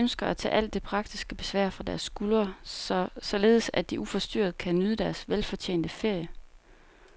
Vi ønsker at tage alt det praktiske besvær fra deres skuldre, således at de uforstyrret kan nyde deres velfortjente ferie.